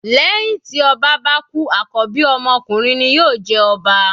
Lẹ́hìn tí ọba bá kú àkọ́bí ọmọ ọkunrin ni yóò jẹ ọba.